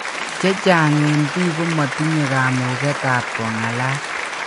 Chechang en pik komatinye kamuget ap kongalal.